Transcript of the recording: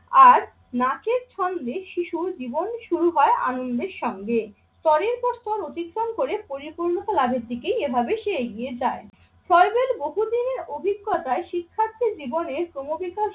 আর নাকের ছন্দে শিশুর জীবন শুরু হয় আনন্দের সঙ্গে। পরের পথ অতিক্রম করে পরিপূর্ণতা লাভের দিকেই এভাবে সে এগিয়ে যায়। ফাইভের বহুদিনের অভিজ্ঞতায় শিক্ষার্থীর জীবনে